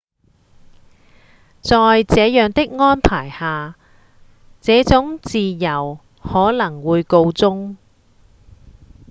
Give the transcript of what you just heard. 在這樣的安排下這種自由可能會告終